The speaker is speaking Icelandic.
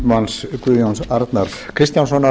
háttvirtur þingmaður guðjóns arnar kristjánssonar